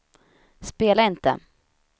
spela inte